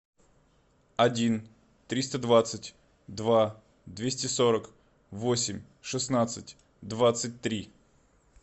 один триста двадцать два двести сорок восемь шестнадцать двадцать три